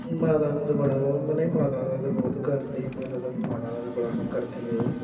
ਮਾਤਾ ਨੂੰ ਤਾਂ ਬੜਾ ਉਹ ਉਹ ਨਹੀਂ ਮਾਤਾ ਦਾ ਤਾਂ ਬਹੁਤ ਕਰਦੀ ਆ, ਮਾਤਾ ਦਾ ਬੜਾ ਕਰਦੀ ਆ ਉਹ